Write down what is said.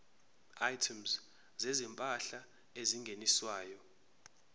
items zezimpahla ezingeniswayo